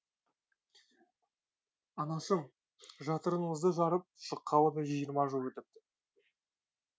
анашым жатырыңызды жарып шыққалы да жиырма жыл өтіпті